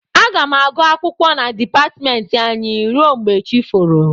Aga m agụ akwụkwọ na dịpatmentị anyị rue mgbe chi foro